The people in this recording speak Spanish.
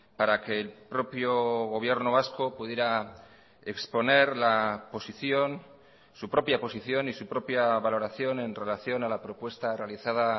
para que el propio gobierno vasco pudiera exponer la posición su propia posición y su propia valoración en relación a la propuesta realizada